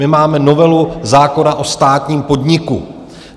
My máme novelu zákona o státním podniku.